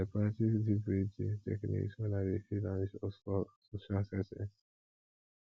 i dey practice deep breathing techniques wen i dey feel anxious for social settings